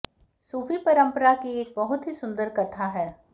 सूफी परंपरा की एक बहुत ही सुंदर कथा है